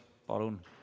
Palun!